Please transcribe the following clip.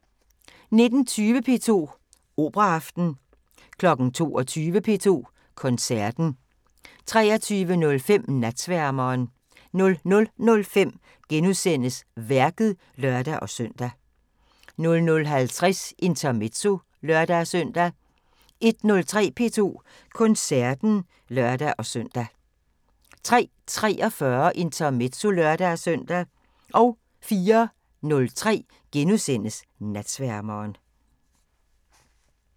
19:20: P2 Operaaften 22:00: P2 Koncerten 23:05: Natsværmeren 00:05: Værket *(lør-søn) 00:50: Intermezzo (lør-søn) 01:03: P2 Koncerten (lør-søn) 03:43: Intermezzo (lør-søn) 04:03: Natsværmeren *